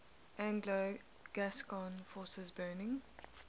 anglo gascon forces burning